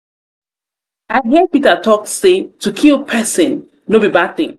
i hear peter talk say to kill person to kill person no be bad thing.